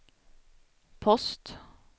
post